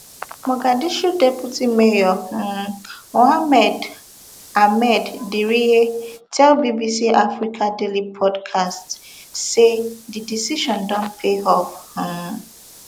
mogadishu deputy mayor um mohamed ahmed diriye tell bbc africa daily podcast say di decision don pay off um